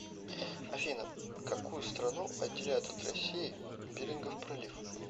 афина какую страну отделяет от россии берингов пролив